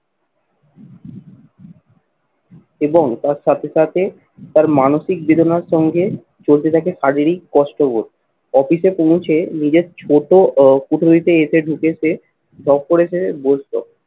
এবং তার সাথে সাথে তার মানসিক বেদনার সঙ্গে চলতে থাকে শারীরিক কষ্টবোধ। অফিসে পৌঁছে নিজের ছোট ও কুঠুরিতে এসে ঢুকে সে job করে সে বুঝতো